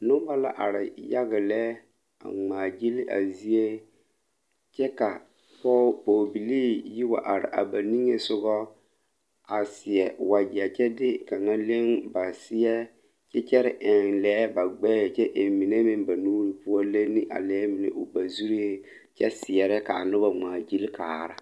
Noba la are yaga lɛ a ŋmaa gili a zie kyɛ ka pɔge Pɔgebilii yi wa are a ba niŋesogɔ a seɛ wagyɛ kyɛ de kaŋa leŋ ba seɛ kyɛ kyɛre eŋ lɛɛ ba gbɛɛ kyɛ eŋ mine meŋ ba nuuri poɔ leni a lɛɛ mine ba zuree kyɛ seɛrɛ k'a noba ŋmaa gili kaara.